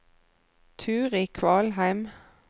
Turid Kvalheim